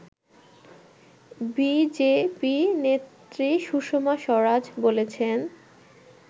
BJP নেত্রী সুষমা স্বরাজ বলেছেন